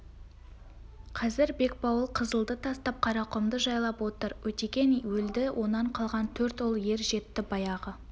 қазір бекбауыл қызылды тастап қарақұмды жайлап отыр өтеген өлді онан қалған төрт ұл ер жетті баяғы